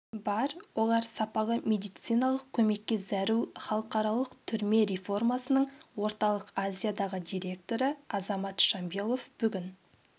бар олар сапалы медициналық көмекке зәру халықаралық түрме реформасының орталық азиядағы директоры азамат шамбилов бүгін